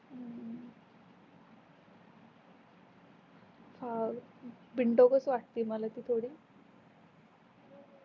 ह बिनडोकच वाटते ती मला थोडी